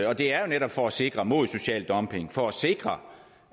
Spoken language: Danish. og det er jo netop for at sikre mod social dumping for at sikre